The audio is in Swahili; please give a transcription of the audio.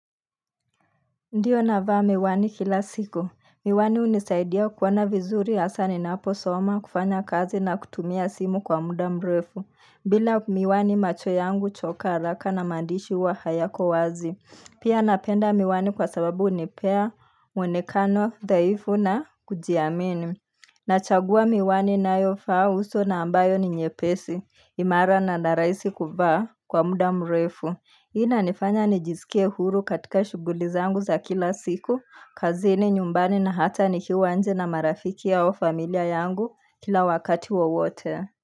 Ndiyo navaa miwani kila siku. Miwani hunisaidia kuona vizuri hasaa ninaposoma kufanya kazi na kutumia simu kwa muda mrefu. Bila miwani macho yangu huchoka haraka na maandishi hjwa hayako wazi. Pia napenda miwani kwa sababu hunipea, mwonekano, dhaifu na kujiamini. Nachagua miwani ninayovaa uso na ambayo ni nyepesi. Imara na narahisi kuvaa kwa muda mrefu. Hii inanifanya nijiskie huru katika shughuli zangu za kila siku, kazini, nyumbani na hata nikiwa nje na marafiki au familia yangu kila wakati wa wote.